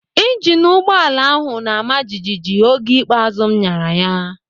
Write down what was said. Ịjinu ụgbọala ahụ na-ama jijiji oge ikpeazụ m nyara ya.